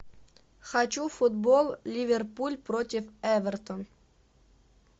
хочу футбол ливерпуль против эвертон